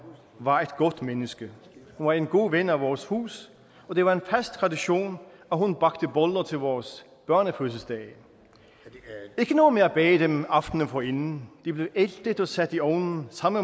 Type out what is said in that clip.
var et godt menneske hun var en god ven af vores hus og det var en fast tradition at hun bagte boller til vores børnefødselsdage ikke noget med at bage dem aftenen forinden de blev æltet og sat i ovnen samme